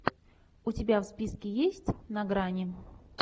у тебя в списке есть на грани